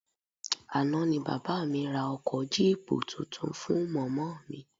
Àná ni bàbá mi ra ọkọ jíìpù tuntun fún mọ̀mọ́ mi